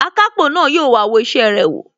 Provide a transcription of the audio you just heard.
Akápò na yóò wá wo isẹ rẹ wò